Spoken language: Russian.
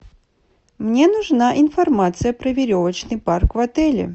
мне нужна информация про веревочный парк в отеле